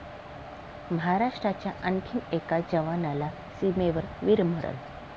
महाराष्ट्राच्या आणखी एका जवानाला सीमेवर वीरमरण